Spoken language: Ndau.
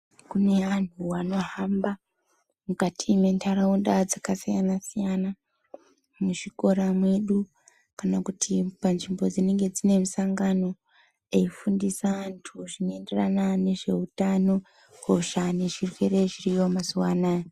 Kune antu vanohamba mukati mwentaraunda dzakasiyana siyana muzvikora mwedu kana kuti panzvimbo dzinenge dzine misangano eifundisa antu zvinoenderana nezveutano hosha nezvirwere zviriyo mazuwanaya.